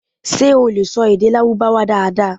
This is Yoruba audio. ṣe o le sọ ede Larubawa daradara?